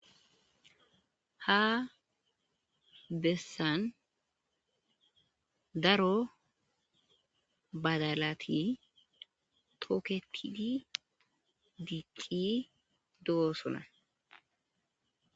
Ha besan daro badalati toketidi dicidi dosona